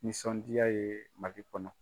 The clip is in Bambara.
Nisɔndiya ye Mali kɔnɔ.